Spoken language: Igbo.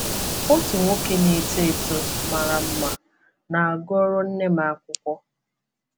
Otu nwoke na-eto eto mara mma na-agụrụ nne m akwụkwọ.